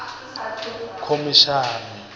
khomishani